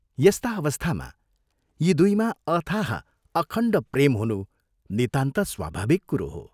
यस्ता अवस्थामा यी दुइमा अथाह, अखण्ड प्रेम हुनु नितान्त स्वाभाविक कुरो हो।